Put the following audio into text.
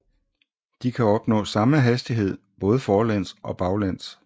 De kan opnå samme hastighed både forlæns og baglæns